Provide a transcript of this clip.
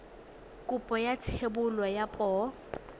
kopo ya thebolo ya poo